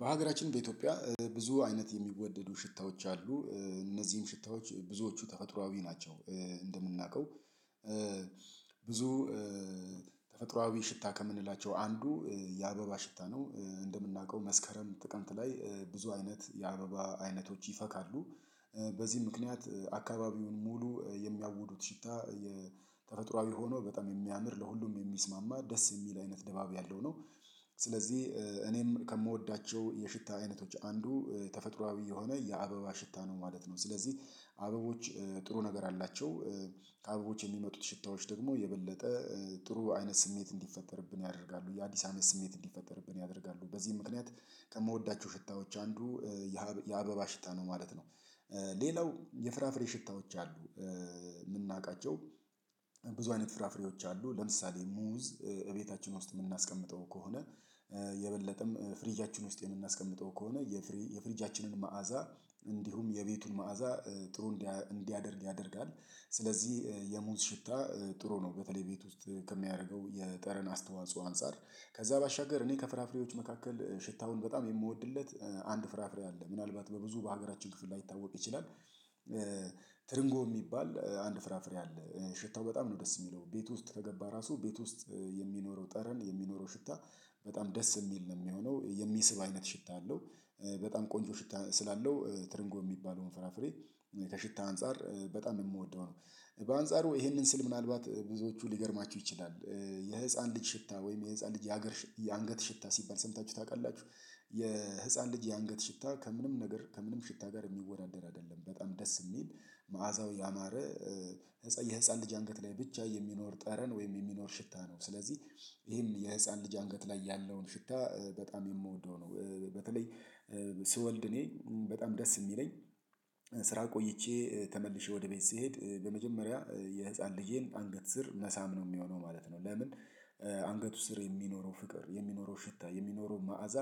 በሀገራችን በኢትዮጵያ ብዙ አይነት የሚወደዱ ሽታዎች አሉ። እነዚህም ሽታዎች ብዙዎቹ ተፈጥሮአዊ ናቸው። እንደምናውቀው ብዙ ተፈጥሮአዊ ሽታ ከምንላቸው አንዱ የአበባ ሽታ ነው። እንደምናውቀው መስከረም ጥቅምት ላይ ብዙ አይነት የአበባ አይነቶች ይፈካሉ። በዚህ ምክንያት አካባቢውን ሙሉ የሚያውዱት ሽታ የተፈጥሮአዊ ሆኖ በጣም የሚያምር ለሁሉም የሚስማማ ደስ የሚል አይነት ደባብ ያለው ነው። ስለዚህ እኔም ከምወዳቸው የሽታ አይነቶች አንዱ ተፈጥሮአዊ የሆነ የአበባ ሽታ ነው ማለት ነው። ስለዚህ አበቦች ጥሩ ነገር አላቸው። ከአበቦች የሚመጡት ሽታዎች ደግሞ የበለጠ ጥሩ አይነት ስሜት እንዲፈጠርብን ያደርጋሉ የአዲስ አመት ስሜት እንዲፈጠርብን ያደርጋሉ በዚህ ምክንያት ከምወዳቸው ሽታዎች አንዱ የአበባ ሽታ ነው ማለት ነው። ሌላው የፍራፍሬ ሽታዎች አሉ። የምናውቃቸው ብዙ አይነት ፍራፍሬዎች አሉ ለምሳሌ ሙዝ እቤታችን ውስጥ የምናስቀምጠው ከሆነ የበለጠም ፍሪጃችን ውስጥ የምናስቀምጠው ከሆነ የፍሪጃችንን መዓዛ እንዲሁም የቤቱን መዓዛ ጥሩ እንዲያደርግ ያደርጋል። ስለዚህ የሙዝ ሽታ ጥሩ ነው። በተለይ ቤት ውስጥ ከሚያደርገው የጠረን አስተዋጽኦ አንፃር ከዛ ባሻገር እኔ ከፍራፍሬዎች መካከል ሽታውን በጣም የምወድለት አንድ ፍራፍሬ አለ ምናልባት በብዙ በሀገራችን ክፍል ላይታወቅ ይችላል። ትርንጎ የሚባል አንድ ፍራፍሬ አለ። ሽታው በጣም ነው ደስ የሚለው ቤት ውስጥ ተገባ ራሱ ቤት ውስጥ የሚኖረው ጠረን የሚኖረው ሽታ በጣም ደስ የሚል ነው የሚሆነው የሚስብ አይነት ሽታ አለው። በጣም ቆንጆ ሽታ ስላለው ትርንጎ የሚባለውን ፍራፍሬ ከሽታ አንፃር በጣም የምወደው ነው። በአንጻሩ ይሄንን ስል ምናልባት ብዙዎቹ ሊገርማችሁ ይችላል። የህፃን ልጅ ሽታ ወይም የህፃን ልጅ የሀገር የአንገት ሽታ ሲባል ሰምታችሁ ታውቃላችሁ? የህፃን ልጅ የአንገት ሽታ ከምንም ነገር ከምንም ሽታ ጋር የሚወዳደር አይደለም። በጣም ደስ የሚል መዓዛው ያማረ የህፃን ልጅ አንገት ላይ ብቻ የሚኖር ጠረን ወይም የሚኖር ሽታ ነው። ስለዚህ ይሄን የህፃን ልጅ አንገት ላይ ያለውን ሽታ በጣም የምወደው ነው። በተለይ ስወልድ እኔ በጣም ደስ የሚለኝ ስራ ቆይቼ ተመልሼ ወደ ቤት ስሄድ በመጀመሪያ የህፃን ልጄን አንገት መሳም ነው የሚሆነው ማለት ነው። ለምን አንገቱ ስር የሚኖረው ፍቅር የሚኖረው ሽታ የሚኖረው መዓዛ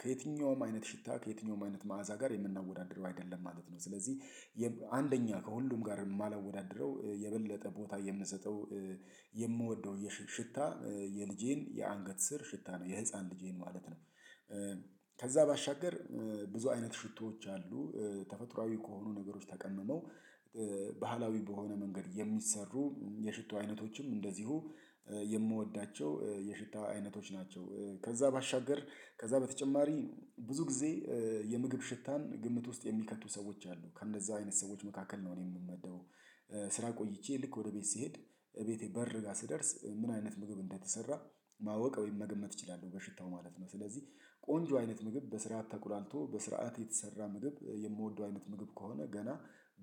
ከየትኛውም አይነት ሽታ ከየትኛውም አይነት መዓዛ ጋር የምናወዳድረው አይደለም ማለት ነው። ስለዚህ አንደኛ ከሁሉም ጋር የማላወዳድረው የበለጠ ቦታ የምንሰጠው የምወድው የሽታ የልጄን የአንገት ስር ሽታ ነው የህፃን ልጄን ማለት ነው። ከዛ ባሻገር ብዙ አይነት ሽቶዎች አሉ። ተፈጥሮአዊ ከሆኑ ነገሮች ተቀምመው ባህላዊ በሆነ መንገድ የሚሰሩ የሽቶ አይነቶችም እንደዚሁ የምወዳቸው የሽታ አይነቶች ናቸው። ከዛ ባሻገር ከዛ በተጨማሪ ብዙ ጊዜ የምግብ ሽታን ግምት ውስጥ የሚከቱ ሰዎች አሉ ከእንደዛ አይነት ሰዎች መካከል ነው እኔ የምመደበው። ስራ ቆይቼ ልክ ወደ ቤት ስሄድ እቤቴ በር ጋር ስደርስ ምን አይነት ምግብ እንደተሰራ ማወቅ ወይም መገመት እችላለሁ በሽታው ማለት ነው። ስለዚህ ቆንጆ አይነት ምግብ በስርዓት ተቆላልቶ በስርዓት የተሰራ ምግብ የምወደው አይነት ምግብ ከሆነ ገና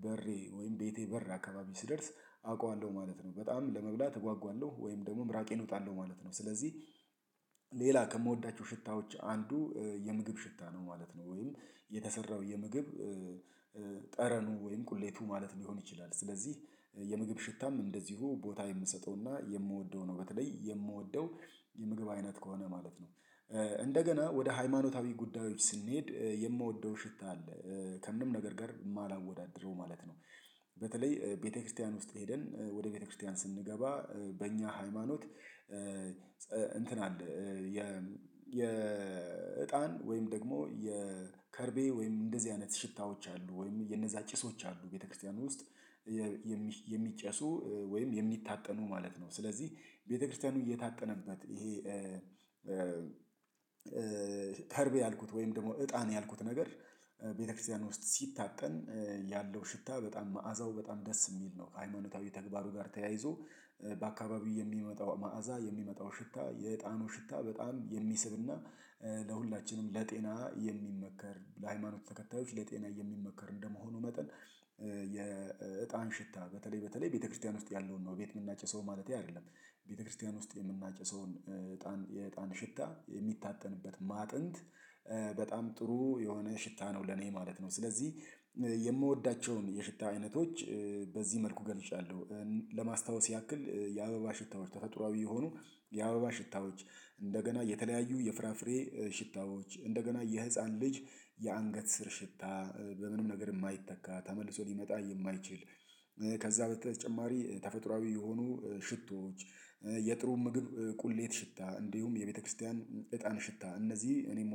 በሬ ወይም ቤቴ በር አካባቢ ሲደርስ አውቀዋለሁ ማለት ነው። በጣም ለመብላት እጓጓለሁ ወይም ደግሞ ምራቄን እወጣለሁ ማለት ነው። ስለዚህ ከምወዳቸው ሽታዎች አንዱ የምግብ ሽታ ነው ማለት ነው። ወይም የተሰራው የምግብ ጠረኑ ወይም ቁሌቱ ማለት ሊሆን ይችላል። ስለዚህ የምግብ ሽታም እንደዚሁ ቦታ የምሰጠውና ነው በተለይ የምወደው የምግብ አይነት ከሆነ ማለት ነው። እንደገና ወደ ሃይማኖታዊ ጉዳዮች ስንሄድ የምወደው ሽታ አለ። ከምንም ነገር ጋር የማላወዳድረው ማለት ነው። በተለይ ቤተክርስቲያን ውስጥ ሄደን ወደ ቤተክርስቲያን ስንገባ በእኛ ሃይማኖት እንትን አለ የ የእጣን ወይም ደግሞ የከርቤ ወይም እንደዚህ አይነት ሽታዎች አሉ ወይም የነዛ ጭሶች አሉ ቤተክርስቲያን ውስጥ የሚጨሱ ወይም የሚታጠኑ ማለት ነው። ስለዚህ ቤተክርስቲያኑ እየታጠነበት ይሄ ከርቤ ያልኩት ወይም ደግሞ እጣን ያልኩት ነገር ቤተክርስቲያን ውስጥ ሲታጠን ያለው ሽታ በጣም መዓዛው በጣም ደስ የሚል ነው። ከሃይማኖታዊ ተግባሩ ጋር ተያይዞ በአካባቢው የሚመጣው መዓዛ የሚመጣው ሽታ የዕጣኑ ሽታ በጣም የሚስብና ለሁላችንም ለጤና የሚመከር ለሃይማኖት ተከታዮች ለጤናዬ የሚመከር እንደመሆኑ መጠን። የእጣን ሽታ በተለይ በተለይ ቤተክርስቲያን ውስጥ ያለውን ነው ቤት የምናጨው ሰው ማለቴ አይደለም። ቤተክርስቲያን ውስጥ የምናጨሰውን የእጣን ሽታ የሚታጠንበት ማጥንት በጣም ጥሩ የሆነ ሽታ ነው ለኔ ማለት ነው። ስለዚህ የምወዳቸውን የሽታ አይነቶች በዚህ መልኩ ገልጫለሁ። ለማስታወስ ያክል የአበባ ሽታዎች ተፈጥሮአዊ የሆኑ የአበባ ሽታዎች እንደገና የተለያዩ የፍራፍሬ ሽታዎች እንደገና የህፃን ልጅ የአንገት ስር ሽታ በምንም ነገር የማይተካ ተመልሶ ሊመጣ የማይችል። ከዛ በተጨማሪ ተፈጥሮአዊ የሆኑ ሽቶዎች የጥሩ ምግብ ቁሌት ሽታ እንዲሁም የቤተክርስቲያን እጣን ሽታ እነዚህ እኔም